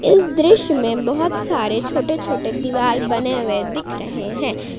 इस दृश्य में बहुत सारे छोटे छोटे दीवाल बने हुए दिख रहे हैं।